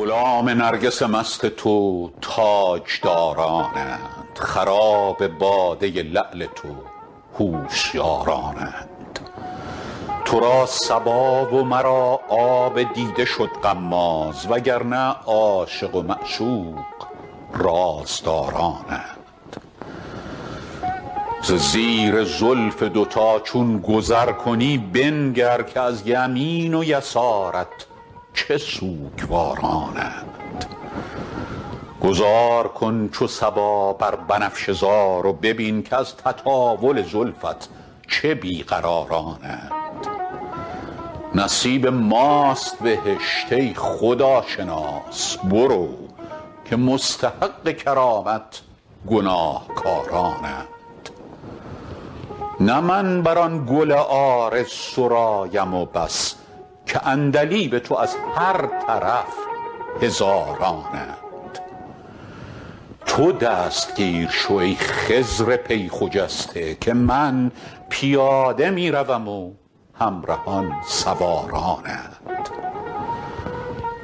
غلام نرگس مست تو تاجدارانند خراب باده لعل تو هوشیارانند تو را صبا و مرا آب دیده شد غماز و گر نه عاشق و معشوق رازدارانند ز زیر زلف دوتا چون گذر کنی بنگر که از یمین و یسارت چه سوگوارانند گذار کن چو صبا بر بنفشه زار و ببین که از تطاول زلفت چه بی قرارانند نصیب ماست بهشت ای خداشناس برو که مستحق کرامت گناهکارانند نه من بر آن گل عارض غزل سرایم و بس که عندلیب تو از هر طرف هزارانند تو دستگیر شو ای خضر پی خجسته که من پیاده می روم و همرهان سوارانند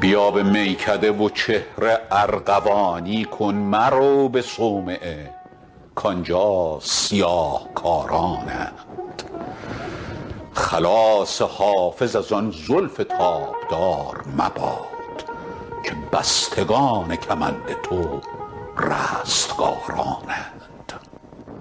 بیا به میکده و چهره ارغوانی کن مرو به صومعه کآنجا سیاه کارانند خلاص حافظ از آن زلف تابدار مباد که بستگان کمند تو رستگارانند